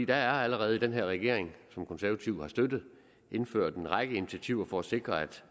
er allerede i den her regering som de konservative har støttet indført en række initiativer for at sikre at